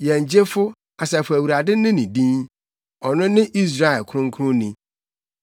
Yɛn Gyefo, Asafo Awurade ne ne din, ɔno ne Israel Kronkronni.